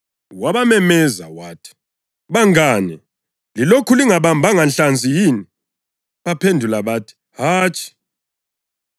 Wabamemeza wathi, “Bangane, lilokhu lingabambanga nhlanzi yini?” Baphendula bathi, “Hatshi.”